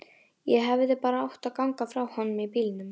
Ég hefði bara átt að ganga frá honum í bílnum.